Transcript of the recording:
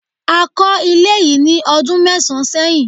a ko ilé yi ní ọdún mẹsan sẹyìn